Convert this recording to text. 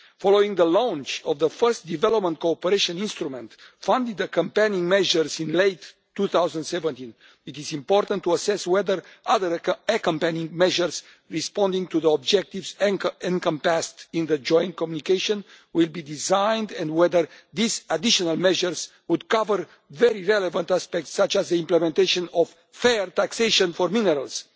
Following the launch of the first development cooperation instrument funded accompanying measure in late 2017, it is important to assess whether other accompanying measures responding to the objectives encompassed in the joint communication will be designed, and whether these additional measures would cover very relevant aspects such as the implementation of fair taxation for minerals.